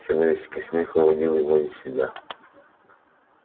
человеческий смех выводил его из себя